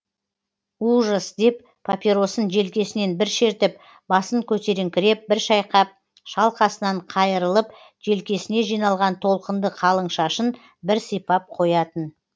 ужас деп папиросын желкесінен бір шертіп басын көтеріңкіреп бір шайқап шалқасынан қайырылып желкесіне жиналған толқынды қалың шашын бір сипап қоятын